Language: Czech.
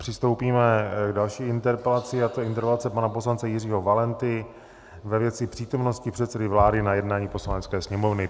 Přistoupíme k další interpelaci a to je interpelace pana poslance Jiřího Valenty ve věci přítomnosti předsedy vlády na jednání Poslanecké sněmovny.